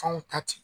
Fanw ta ten